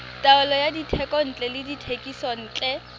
taolo ya dithekontle le dithekisontle